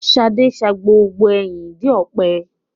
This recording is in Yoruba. Ṣadé sa gbogbo ẹyin ìdí ọ̀pẹ.